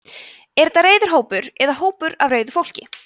er þetta reiður hópur eða hópur af reiðu fólki